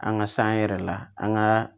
An ka san yɛrɛ la an ka